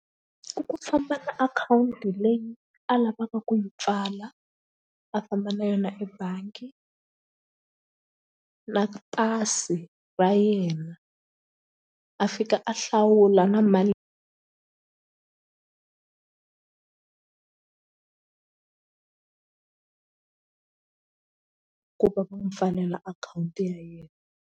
Ku ku famba ka akhawunti leyi a lavaka ku yi pfala a famba na yona ebangi na pasi ra yena a fika a hlawula na mali ku va va mu pfalela akhawunti ya yena.